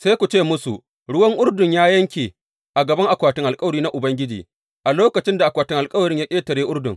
Sai ku ce musu, ruwan Urdun ya yanke a gaban akwatin alkawari na Ubangiji, a lokacin da akwatin alkawarin ya ƙetare Urdun.